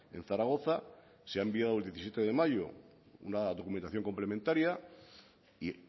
en zaragoza se ha enviado el diecisiete de mayo una documentación complementaria y